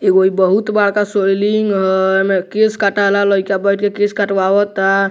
एगो ई बहुत बड़का सैलून हई केस कटाला लइका बइठ के केस कटवावता।